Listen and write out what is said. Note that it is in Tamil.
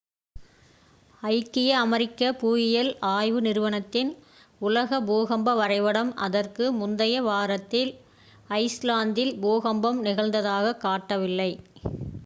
ஐக்கிய அமெரிக்க புவியியல் ஆய்வு நிறுவனத்தின் உலக பூகம்ப வரைபடம் அதற்கு முந்தைய வாரத்தில் ஐஸ்லாந்தில் பூகம்பம் நிகழ்ந்ததாகக் காட்டவில்லை